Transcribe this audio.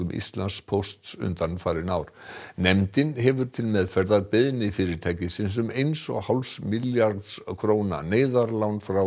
Íslandspósts undanfarin ár nefndin hefur til meðferðar beiðni fyrirtækisins um eins og hálfs milljarðs króna neyðarlán frá